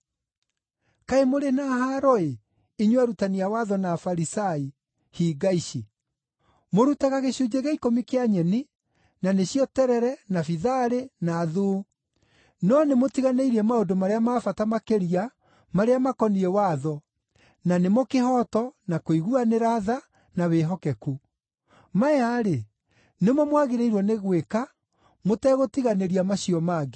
“Kaĩ mũrĩ na haaro-ĩ, inyuĩ arutani a watho na Afarisai, hinga ici! Mũrutaga gĩcunjĩ gĩa ikũmi kĩa nyeni; na nĩcio terere, na bitharĩ, na thuu. No nĩmũtiganĩirie maũndũ marĩa ma bata makĩria marĩa makoniĩ watho na nĩmo kĩhooto, na kũiguanĩra tha, na wĩhokeku. Maya-rĩ, nĩmo mwagĩrĩirwo nĩ gwĩka mũtegũtiganĩria macio mangĩ.